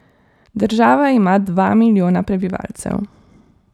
Država ima dva milijona prebivalcev.